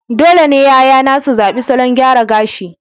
dole ne 'ya'yana su zaɓi salon gyara gashi